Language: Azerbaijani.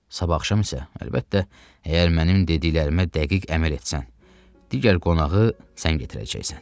Sabah axşam isə, əlbəttə, əgər mənim dediklərimə dəqiq əməl etsən, digər qonağı sən gətirəcəksən.